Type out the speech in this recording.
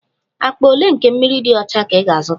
Akpa ole nke mmiri dị ọcha ka ị ga-azụta?